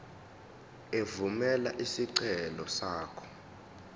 evumela isicelo sakho